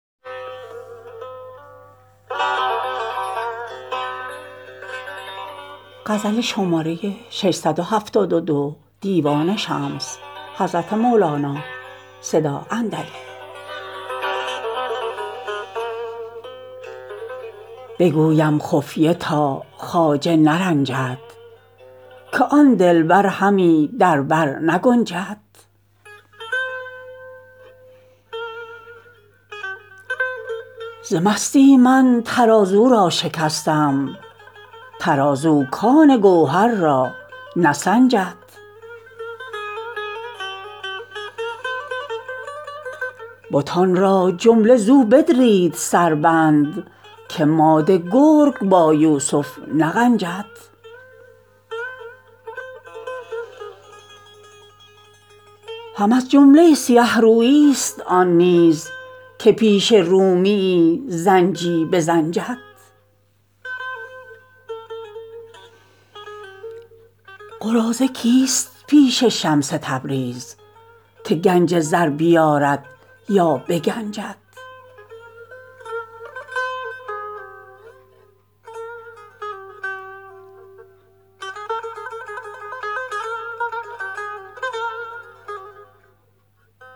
بگویم خفیه تا خواجه نرنجد که آن دلبر همی در بر نگنجد ز مستی من ترازو را شکستم ترازو کان گوهر را نسنجد بتان را جمله زو بدرید سربند که ماده گرگ با یوسف نغنجد هم از جمله سیه روییست آن نیز که پیش رومیی زنجی بزنجد قراضه کیست پیش شمس تبریز که گنج زر بیارد یا بگنجد